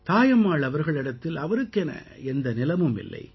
தாயம்மாள் அவர்களிடத்தில் அவருக்கென எந்த நிலமும் இல்லை